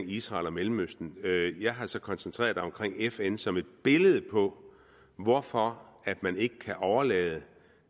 israel og mellemøsten jeg har så koncentreret det omkring fn som et billede på hvorfor man ikke kan overlade